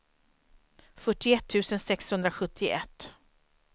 fyrtioett tusen sexhundrasjuttioett